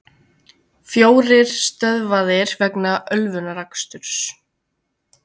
Fjórir stöðvaðir vegna ölvunaraksturs